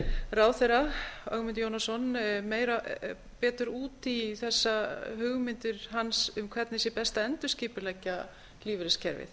ráðherra ögmund jónasson betur út í þessar hugmyndir hans um hvernig sé best að endurskipuleggja lífeyriskerfið